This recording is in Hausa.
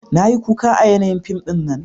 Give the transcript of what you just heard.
Na yi kuka a yanayin fim dinnan